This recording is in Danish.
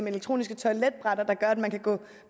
elektroniske toiletbrætter der gør at man kan gå